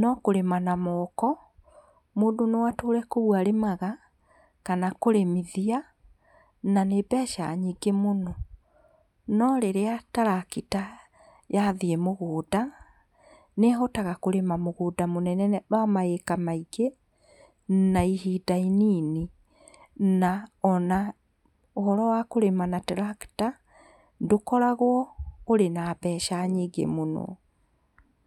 no kũrĩma na moko, mũndũ no atũre kũu arĩmaga kana kũrĩmithia na nĩ mbeca nyingĩ mũno .No rĩrĩa tarakita yathiĩ mũgũnda nĩhotaga kũrĩma mũgũnda mũnene mũno, wa ma ĩka maingĩ na ihinda inini. Ona ũhoro wa kũrĩma na tarakita ndũkoragwo ũrĩ na mbeca nyingĩ mũno.